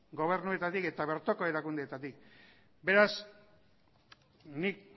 gobernuetatik eta bertoko erakundeetatik beraz nik